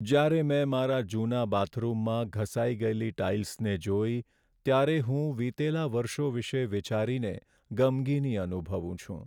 જ્યારે મેં મારા જૂના બાથરૂમમાં ઘસાઈ ગયેલી ટાઇલ્સને જોઈ, ત્યારે હું વિતેલા વર્ષો વિશે વિચારીને ગમગીની અનુભવું છું.